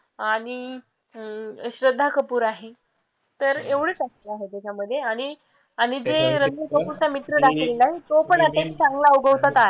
आणि अं श्रद्धा कपूर आहे तर एवढेच आहे त्याच्यामध्ये आणि आणि ते रणबीर कपूरचा मित्र दाखवलेला आहे तो पण चांगला उगवता तारा आहे.